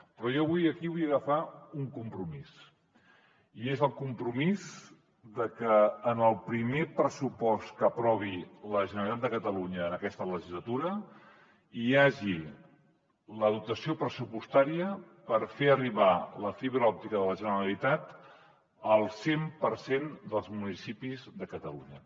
però jo avui aquí vull agafar un compromís i és el compromís que en el primer pressupost que aprovi la generalitat de catalunya en aquesta legislatura hi hagi la dotació pressupostària per fer arribar la fibra òptica de la generalitat al cent per cent dels municipis de catalunya